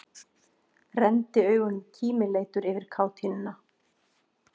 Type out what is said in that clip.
Renndi augunum kímileitur yfir kátínuna.